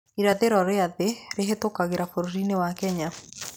Irathĩro rĩa thĩ rĩhĩtũkagĩra bũrũri-inĩ wa Kenya.